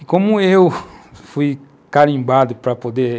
E como eu fui carimbado para poder